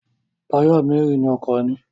Táyà mẹ́rin ni ọkọ̀ ní.